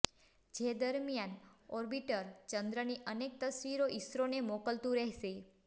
જે દરમ્યાન ઓર્બિટર ચંદ્રની અનેક તસવીરો ઇસરોને મોકલતું રહેશે